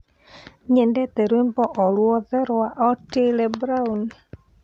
nyendeete rwĩmbo oruothe rwa otile brown